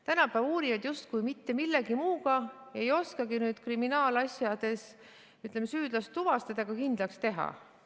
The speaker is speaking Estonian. Tänapäeva uurijad justkui mitte millegi muuga ei oskagi kriminaalasjades süüdlast tuvastada ega kindlaks teha.